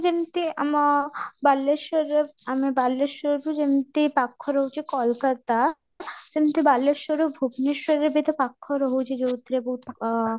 ଯେମିତି ଆମ ବାଲେଶ୍ୱରରେ ଆମେ ବାଲେଶ୍ୱରରୁ ଯେମିତି ପାଖରେ ରହୁଛି କୋଲକାତା ସେମିତି ବାଲେଶ୍ୱରରୁ ଭୁବନେଶ୍ୱରରେ ବି ତ ପାଖ ରହୁଛି ଯଉଥିରେ ବହୁତ ଆଁ